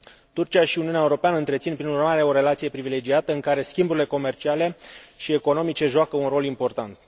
Turcia și Uniunea Europeană întrețin, prin urmare, o relație privilegiată, în care schimburile comerciale și economice joacă un rol important.